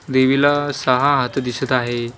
देवीला सहा हात दिसत आहे.